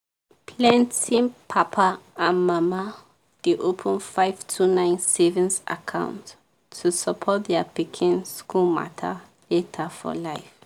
plenty papa and mama dey open 529 savings account to support their pikin school matter later for life.